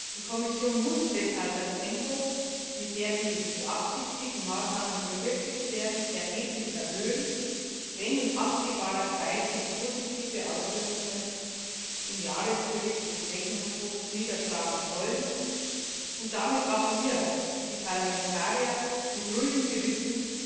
Die Kommission muss deshalb das Tempo, mit dem die beabsichtigten Maßnahmen verwirklicht werden, erheblich erhöhen, wenn sich in absehbarer Zeit positive Auswirkungen im Jahresbericht des Rechnungshofs niederschlagen sollen und damit auch wir, die Parlamentarier, mit ruhigem Gewissen